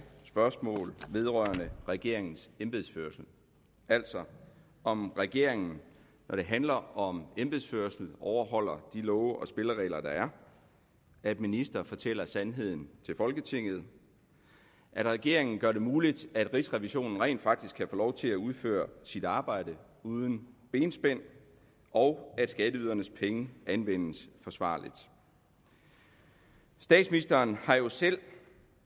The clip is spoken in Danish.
spørgsmål vedrørende regeringens embedsførelse altså om regeringen når det handler om embedsførelse overholder de love og spilleregler der er at ministre fortæller sandheden til folketinget at regeringen gør det muligt at rigsrevisionen rent faktisk kan få lov til at udføre sit arbejde uden benspænd og at skatteydernes penge anvendes forsvarligt statsministeren har jo selv